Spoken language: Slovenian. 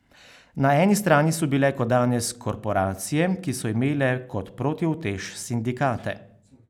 Na eni strani so bile kot danes korporacije, ki so imele kot protiutež sindikate.